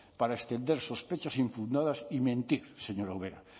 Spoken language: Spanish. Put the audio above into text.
para extender sospechas infundadas y mentir señora ubera